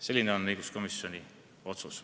Selline on õiguskomisjoni otsus.